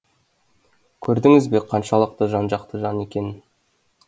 көрдіңіз бе қаншалықты жан жақты жан екенін